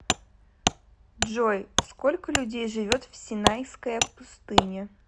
джой сколько людей живет в синайская пустыня